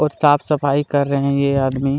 और साफ सफाई कर रहे हैं ये आदमी--